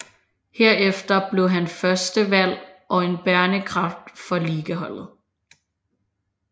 Herefter blev han førstevalg og en bærende kraft for ligaholdet